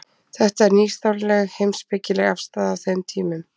þetta var nýstárleg heimspekileg afstaða á þeim tímum